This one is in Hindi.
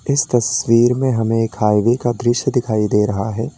इस तस्वीर में हमें एक हाईवे का दृश्य दिखाई दे रहा है।